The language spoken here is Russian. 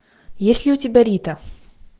есть ли у тебя рита